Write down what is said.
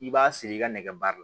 I b'a siri i ka nɛgɛ baara la